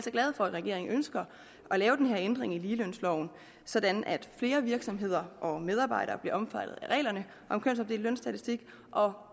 glade for at regeringen ønsker at lave den her ændring i ligelønsloven sådan at flere virksomheder og medarbejdere bliver omfattet af reglerne om kønsopdelt lønstatistik og